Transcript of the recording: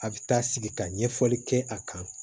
A bɛ taa sigi ka ɲɛfɔli kɛ a kan